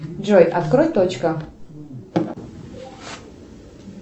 джой открой точка